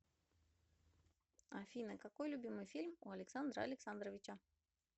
афина какой любимый фильм у александра александровича